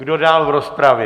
Kdo dál v rozpravě?